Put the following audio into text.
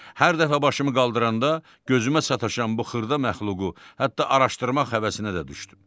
Hər dəfə başımı qaldıranda gözümə sataşan bu xırda məxluqu hətta araşdırmaq həvəsinə də düşdüm.